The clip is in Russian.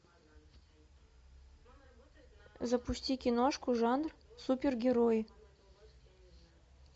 запусти киношку жанр супергерои